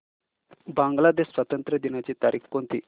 बांग्लादेश स्वातंत्र्य दिनाची तारीख कोणती